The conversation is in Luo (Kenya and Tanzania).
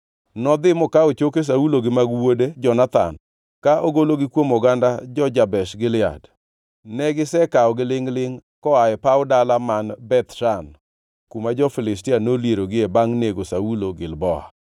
nodhi mokawo choke Saulo gi mag wuode Jonathan ka ogologi kuom oganda jo-Jabesh Gilead. Ne gisekawogi lingʼ-lingʼ koa e paw dala man Beth Shan, kuma jo-Filistia nolierogie bangʼ nego Saulo Gilboa.